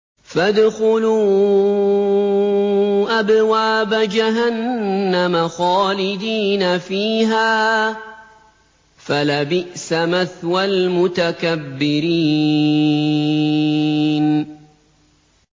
فَادْخُلُوا أَبْوَابَ جَهَنَّمَ خَالِدِينَ فِيهَا ۖ فَلَبِئْسَ مَثْوَى الْمُتَكَبِّرِينَ